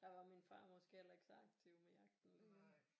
Der var min far måske heller ikke så aktiv med jagten